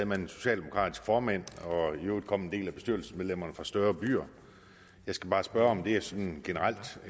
man en socialdemokratisk formand og i øvrigt kom en del af bestyrelsesmedlemmerne fra større byer jeg skal bare spørge om det sådan generelt